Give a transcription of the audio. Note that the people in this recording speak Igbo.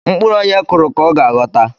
Mkpụrụ onye kuru ka ọ ga-aghọta